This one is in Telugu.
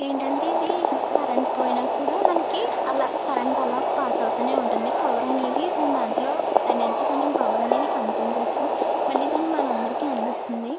ఏంటంటే ఇది మనకి కరెంటు పోయినా కూడా అలా కరెంటు పాస్ అవుతూనే ఉంటుంది పవర్ అనేది దాని దాంట్లో ఎనర్జీ అనేది కన్జ్యూమ్ చేస్తుంది మలి దాన్ని మన అందరికీ అందిస్తుంది.